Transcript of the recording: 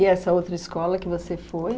E essa outra escola que você foi?